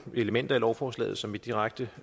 elementer i lovforslaget som vi direkte